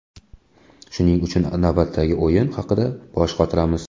Shuning uchun navbatdagi o‘yin haqida bosh qotiramiz.